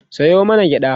Sayo mana gyaɗa